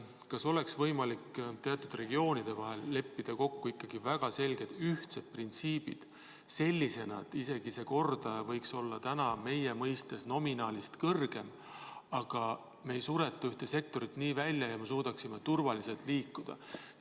Kas oleks võimalik teatud regioonide vahel leppida kokku väga selged ühtsed printsiibid sellisena, et isegi see kordaja võiks olla täna meie mõistes nominaalist kõrgem, aga me ei sureta ühte sektorit välja ja me suudaksime turvaliselt liikuda?